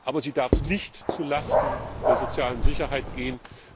Aber sie darf nicht zulasten der sozialen Sicherheit gehen.